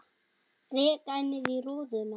Rek ennið í rúðuna.